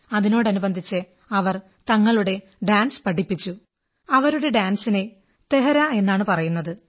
അതിനോടനുബന്ധിച്ച് അവർ തങ്ങളുടെ ഡാൻസ് പഠിപ്പിച്ചു അവരുടെ ഡാൻസിന് തേഹരാ എന്നാണ് പറയുന്നത്